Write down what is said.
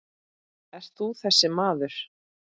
Ert þú þessi maður?